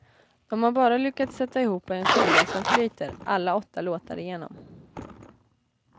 De har bara lyckats sätta ihop en skiva som flyter, alla åtta låtar igenom.